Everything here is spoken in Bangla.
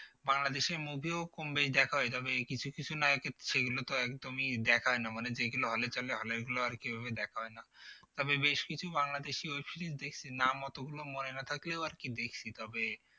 বাংলাদেশের movie ও কম বেশি দেখা হয় তবে এই কিছু কিছু নায়কের ছবিগুলো তো একদমই দেখা হয় না মানে যেগুলো hall এ চলে hall এর গুলো আরকি ঐভাবে দেখা হয় না তবে বেশ কিছু বাংলাদেশি web series দেখছি নাম অতগুলো মনে না থাকলেও আরকি দেখছি তবে